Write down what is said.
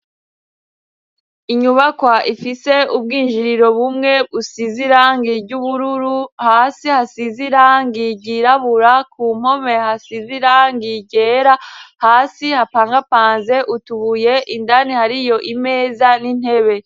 Inyubakwa ifise ubwinjiriro bumwe busize irangi ry'ubururu, hasi hasize irangi ryirabura, ku mpome hasize irangi ryera, hasi hapangapanze utubuye, indani hariyo imeza n'intebe.